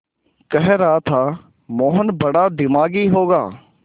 कह रहा था मोहन बड़ा दिमागी होगा